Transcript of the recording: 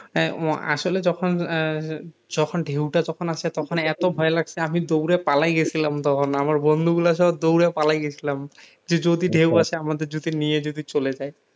আসলে যখন আহ যখন ঢেউটা যখন আসে তখন এত ভয় লাগছে আমি দৌড়ে পালায় গেছিলাম তখন আমার বন্ধু গুলার সব দৌড়ে পালায় গেছিলাম যে যদি ঢেউ এসে আমাদের যদি নিয়ে যদি চলে যাই